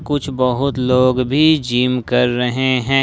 कुछ बहुत लोग भी जिम कर रहे हैं।